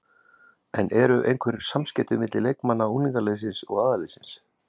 En eru einhver samskipti milli leikmanna unglingaliðsins og aðalliðsins?